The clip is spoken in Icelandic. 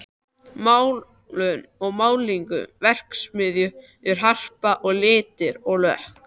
Málun og málningu: Verksmiðjurnar Harpa og Litir og lökk.